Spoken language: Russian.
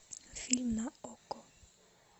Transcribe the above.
фильм на окко